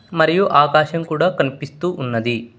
మరియు ఆకాశం కూడా కనిపిస్తు ఉన్నది.